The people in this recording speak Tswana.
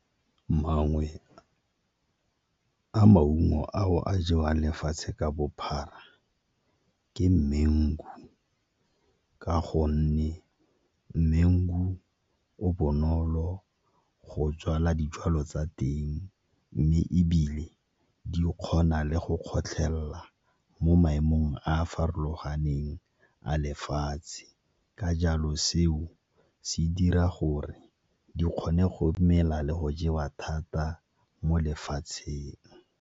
Mangwe a maungo ao a jewang lefatshe ka bophara ke mango-u ka gonne mango-u o bonolo go tswala dijwalo tsa teng mme ebile di kgona le go kgotlhelela mo maemong a a farologaneng a lefatshe, ka jalo seo se dira gore di kgone go mela le go jewa thata mo lefatsheng.